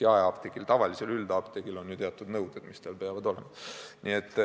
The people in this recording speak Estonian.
Jaeapteegil, tavalisel üldapteegil on ju teatud nõuded, mis peavad olema täidetud.